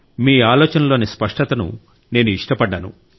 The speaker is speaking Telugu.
మీ ఆలోచనలలోని స్పష్టతను నేను ఇష్టపడ్డాను